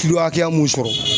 Kilo hakɛya mun sɔrɔ